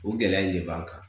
O gɛlɛya in de b'an kan